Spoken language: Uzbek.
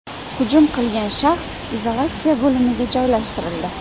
Hujum qilgan shaxs izolyatsiya bo‘linmasiga joylashtirildi.